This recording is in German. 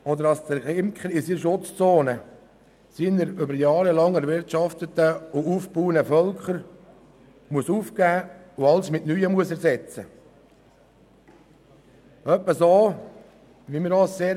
Weiter kann es sein, dass der Imker die Völker, die er über lange Jahre aufgebaut hat, aufgeben und mit neuen ersetzen muss.